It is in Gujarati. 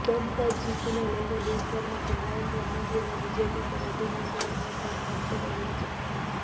બમ્પર જીતને લઇને દેશભરમાંથી નરેન્દ્ર મોદી અને બીજેપી પર અભિનંદનનો વરસાદ વરસી રહ્યો છે